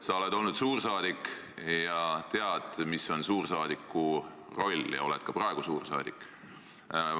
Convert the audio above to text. Sa oled olnud suursaadik ja tead, mis on suursaadiku roll, sa oled ka praegu suursaadik.